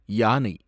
யானை